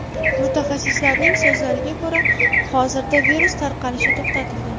Mutaxassislarning so‘zlariga ko‘ra, hozirda virus tarqalishi to‘xtatilgan.